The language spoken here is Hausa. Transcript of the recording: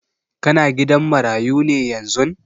Ka na gidan marayu ne yanzun?